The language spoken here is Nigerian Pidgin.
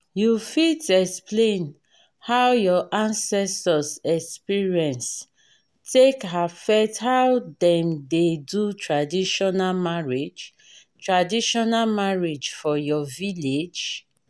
you fit explain how your ancestors experience take affect how them dey do traditional marriage traditional marriage for your village?